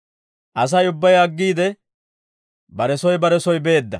Asay ubbay aggiide, bare soy bare soy beedda.